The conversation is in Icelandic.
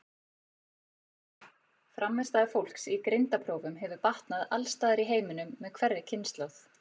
Frammistaða fólks í greindarprófum hefur batnað alls staðar í heiminum með hverri kynslóð.